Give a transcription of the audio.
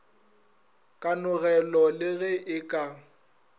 kanogelo le ge e ka